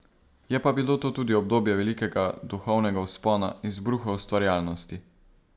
Je pa bilo to tudi obdobje velikega duhovnega vzpona, izbruha ustvarjalnosti.